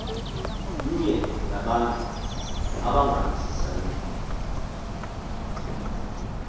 mnye ngabantu abangavisisaniyo